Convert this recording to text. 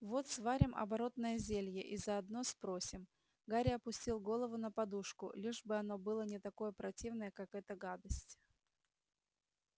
вот сварим оборотное зелье и заодно спросим гарри опустил голову на подушку лишь бы оно было не такое противное как эта гадость